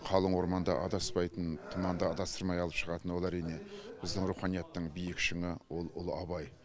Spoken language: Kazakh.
қалың орманда адаспайтын тұманда адастырмай алып шығатын ол әрине біздің руханияттың биік шыңы ол ұлы абай